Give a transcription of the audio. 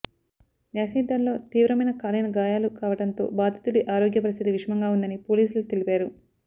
acid దాడిలో తీవ్రమైన కాలిన గాయాలు కావడంతో బాధితుడి ఆరోగ్య పరిస్థితి విషమంగా ఉందని పోలీసులు తెలిపారు